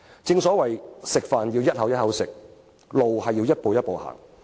正所謂："食飯要一口一口食，路要一步一步行。